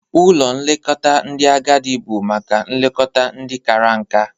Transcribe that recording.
Ụlọ nlekọta ndị agadị bụ maka nlekọta ndị kara nka.